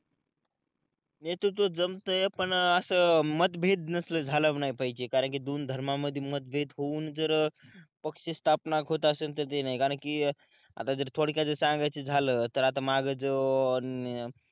नेतृत्व जमतंय पण असं मतभेद नसलं झाला नाही पाहिजे कारण कि दोन धर्मामध्ये मतभेद होऊन जर अं पक्ष स्थापना होत असेल तर ते नाही कारण कि अं आता जर थोडक्यात जर सांगायचं झालं तर आता माग जो अं